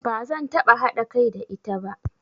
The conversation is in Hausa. Ba zan taɓa haɗa kai da ita ba.